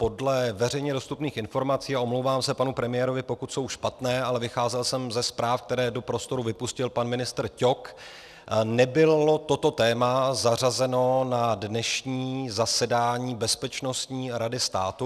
Podle veřejně dostupných informací, a omlouvám se panu premiérovi, pokud jsou špatné, ale vycházel jsem ze zpráv, které do prostoru vypustil pan ministr Ťok, nebylo toto téma zařazeno na dnešní zasedání Bezpečností rady státu.